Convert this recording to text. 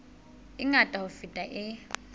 e ngata ho feta e